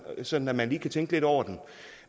sådan at man lige kan tænke lidt over den